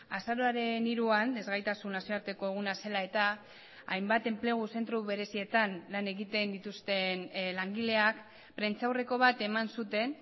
azaroaren hiruan ezgaitasun nazioarteko eguna zela eta hainbat enplegu zentro berezietan lan egiten dituzten langileak prentsaurreko bat eman zuten